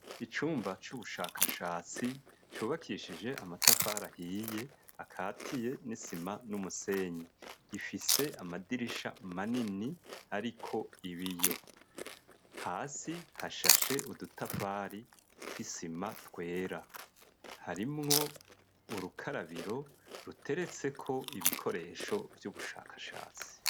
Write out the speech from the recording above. Icumba c'ubushakashatsi, cubakishije amatafari ahiye, akatiye n'isima, n'umusenyi; gifise amadirisha manini, ariko ibiyo; hasi hashashe udutafari tw'isima, twera; harimwo urukarabiro, ruteretseko ibikoresho vy'ubushakashatsi.